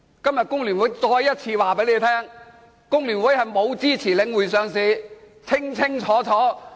今天工聯會再次告訴大家，工聯會沒有支持領匯上市，這是清清楚楚的。